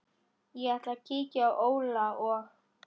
Ég ætla að kíkja á Óla og